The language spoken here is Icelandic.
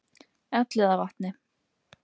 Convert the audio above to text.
Elliðavatni